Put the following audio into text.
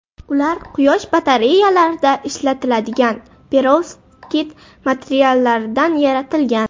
Ular quyosh batareyalarida ishlatiladigan perovskit materiallaridan yaratilgan.